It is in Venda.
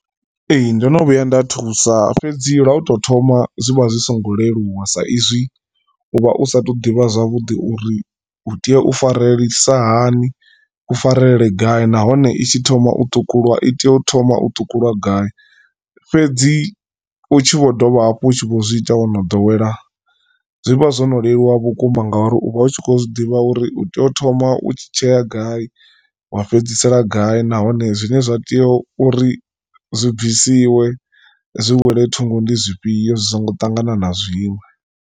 Ee ndono vhuya nda thusa fhedzi lwa u to thoma zwivha zwisingo leluwa sa izwi uvha u sa athu ḓivha zwavhuḓi uri u tea u farelelisa hani u farelele gai nahone itshi thoma u ṱhukulwa i tea u thoma u ṱhukhulwa gai. Fhedzi u tshi vho dovha hafhu u tshi vho zwiita wono ḓowela zwi vha zwo no leluwa vhukuma ngauri u vha u tshi khou zwiḓivha uri u tea u thoma u tshi tshea gai wa fhedzisela gai nahone zwine zwa tea uri zwi bvisiwe zwi wele thungo ndi zwifhio zwi songo ṱangana na zwiṅwe.